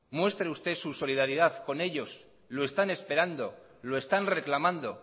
muestre usted su solidaridad con ellos lo están esperando lo están reclamando